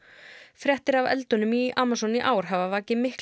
fréttir af eldunum í Amazon í ár hafa vakið mikla